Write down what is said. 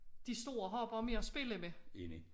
De store har bare mere at spille med